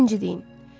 Birinci deyin.